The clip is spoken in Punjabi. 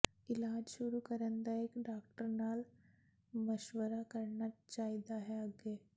ਇਲਾਜ ਸ਼ੁਰੂ ਕਰਨ ਦਾ ਇੱਕ ਡਾਕਟਰ ਨਾਲ ਮਸ਼ਵਰਾ ਕਰਨਾ ਚਾਹੀਦਾ ਹੈ ਅੱਗੇ